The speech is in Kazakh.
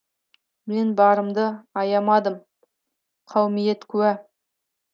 мен барымды аямадым қаумиет куә